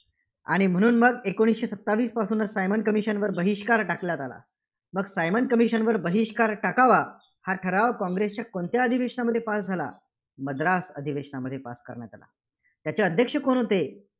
आणि म्हणून मग एकोणीसशे सत्तावीसपासूनच सायमन commission वर बहिष्कार टाकण्यात आला. मग सायमन commission वर बहिष्कार टाकावा? हा ठराव काँग्रेसच्या कोणत्या अधिवेशनामध्ये pass झाला? मद्रास अधिवेशनामध्ये पास करण्यात आला. त्याचे अध्यक्ष कोण होते?